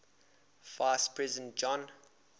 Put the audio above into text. vice president john